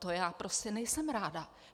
To já prostě nejsem ráda.